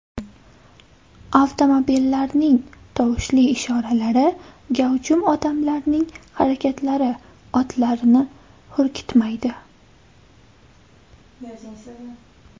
Avtomobillarning tovushli ishoralari, gavjum odamlarning harakatlari otlarni hurkitmaydi.